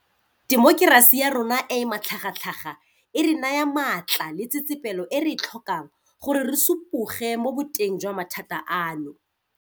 Temokerasi ya rona e e matlhagatlhaga e re naya matla le tsetsepelo e re e tlhokang gore re supuge mo boteng jwa mathata ano.